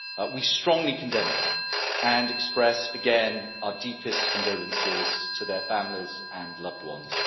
We strongly condemn it and express again our deepest condolences to their families and loved ones.